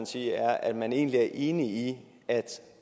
sige er at man egentlig er enig i